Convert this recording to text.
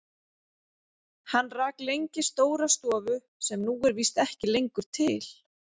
Hann rak lengi stóra stofu sem nú er víst ekki lengur til.